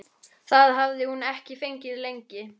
Það hafði hún ekki fengið lengi.